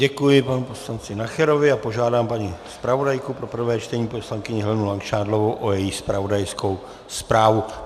Děkuji panu poslanci Nacherovi a požádám paní zpravodajku pro prvé čtení, poslankyni Helenu Langšádlovou, o její zpravodajskou zprávu.